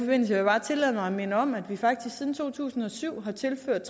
vil jeg bare tillade mig at minde om at vi faktisk siden to tusind og syv har tilført